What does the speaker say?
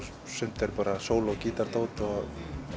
sumt er bara sóló gítardót og